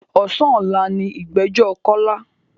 Ọ̀sán ọ̀la ni ìgbẹ́jọ́ Kọ́lá.